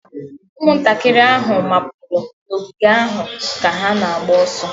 Ụmụntakịrị ahụ mapụrụ n'ogige ahụ ka ha na-agba ọsọ.